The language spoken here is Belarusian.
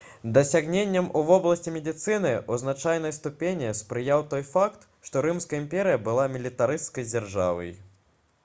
дасягненням у вобласці медыцыны ў значнай ступені спрыяў той факт што рымская імперыя была мілітарысцкай дзяржавай